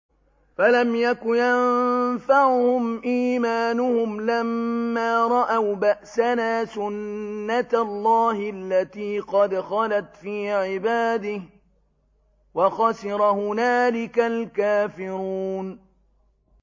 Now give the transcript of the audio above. فَلَمْ يَكُ يَنفَعُهُمْ إِيمَانُهُمْ لَمَّا رَأَوْا بَأْسَنَا ۖ سُنَّتَ اللَّهِ الَّتِي قَدْ خَلَتْ فِي عِبَادِهِ ۖ وَخَسِرَ هُنَالِكَ الْكَافِرُونَ